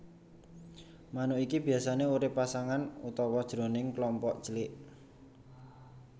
Manuk iki biasané urip pasangan utawa jroning kelompok cilik